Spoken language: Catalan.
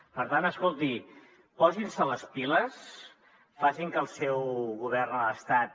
per tant escolti posin se les piles facin que el seu govern a l’estat